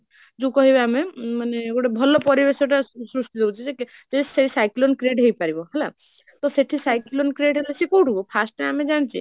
ଯୋଉ କହିବା ଆମେ ମାନେ ଗୋଟେ ଭଲ ପରିବେଶଟା ସହୃଷ୍ଟି ଦଉଛି ସେ ସେ ସେ cyclone create ହେଇପାରିବ ହେଲା, ତ ସେଇଠି cyclone create ହେଲେ ସେ କୋଉଠୁ firstଟା ଆମେ ଜାନିଛେ